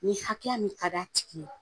Ni hakɛya min kadi a tigi ye